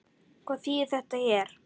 Hvað þýðir þetta hér?